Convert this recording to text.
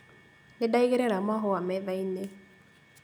Nĩndaigĩrĩra mahũa metha-inĩ